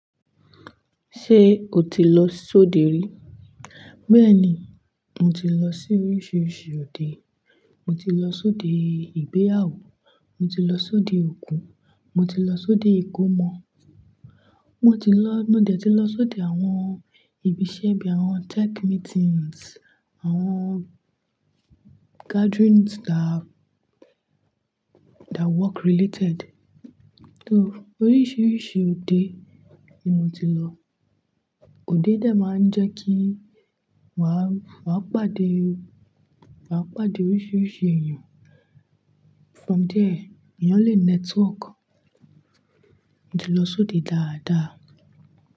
Ṣé o ti lọ sóde rí? Bẹ́ẹ̀ni, mo ti lọ sí oríṣiríṣi òde. Mo ti lọ sóde ìgbéyàwó, mo ti lọ sóde òkú, mo ti lọ sóde ìkómọ, mo ti lọ-- mo dẹ̀ ti lọ sóde àwọn ìbi iṣẹ́ bí i àwọn tech meetings, àwọn gatherings that, that work related. To oríṣiríṣi òde ni mo ti lọ. Òde dẹ̀ máa ń jẹ́ kí wa, wa pàdé, wa pàdé oríṣiríṣi èèyàn. From there, èèyàn lè network. Mo ti lọ sóde dáadáa.